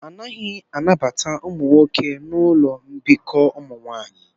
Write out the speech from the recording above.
A naghị anabata ụmụ nwoke na ụlọ mbikọ ụmụ nwanyị